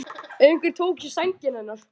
Einhver tók í sængina hennar.